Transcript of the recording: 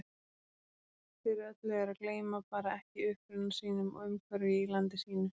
Fyrir öllu er að gleyma bara ekki uppruna sínum og umhverfi í landi sínu.